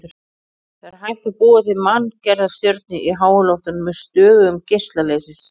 Það er hægt að búa til manngerða stjörnu í háloftunum með stöðugum geisla leysis.